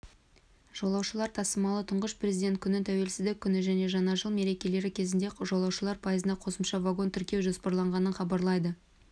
жолаушылар тасымалы тұңғыш президент күні тәуелсіздік күні және жаңа жыл мерекелері кезінде жолаушылар пойызына қосымша вагон тіркеу жоспарланғанын хабарлайды